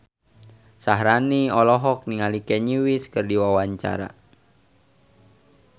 Syaharani olohok ningali Kanye West keur diwawancara